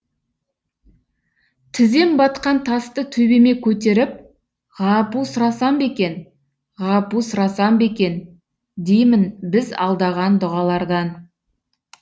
тізем батқан тасты төбеме көтеріп ғапу сұрасам ба екен ғапу сұрасам ба екен деймін біз алдаған дұғалардан